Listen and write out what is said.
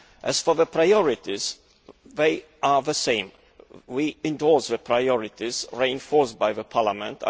As for the priorities, they are the same. We endorse the priorities reinforced by Parliament.